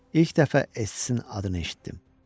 İlk dəfə Essinin adını eşitdim.